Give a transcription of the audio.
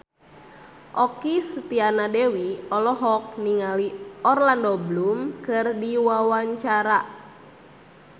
Okky Setiana Dewi olohok ningali Orlando Bloom keur diwawancara